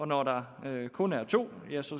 når der kun er to